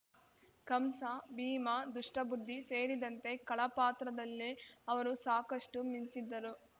ಕಂಸ ಭೀಮ ದುಷ್ಟಬುದ್ಧಿ ಸೇರಿದಂತೆ ಖಳ ಪಾತ್ರದಲ್ಲೇ ಅವರು ಸಾಕಷ್ಟುಮಿಂಚಿದ್ದರು